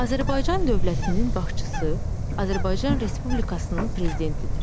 Azərbaycan dövlətinin başçısı Azərbaycan Respublikasının prezidentidir.